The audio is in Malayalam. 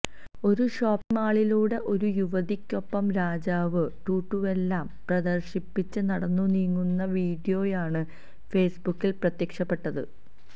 ഒരു ഷോപ്പിങ് മാളിലൂടെ ഒരു യുവതിക്കൊപ്പം രാജാവ് ടാറ്റൂവെല്ലാം പ്രദർശിപ്പിച്ച് നടന്നുനീങ്ങുന്ന വീഡിയോയാണ് ഫേസ്ബുക്കിൽ പ്രത്യക്ഷപ്പെട്ടത്